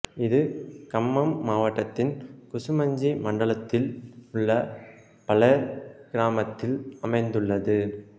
இது கம்மம் மாவட்டத்தின் குசுமஞ்சி மண்டலத்தில் உள்ள பலேர் கிராமத்தில் அமைந்துள்ளது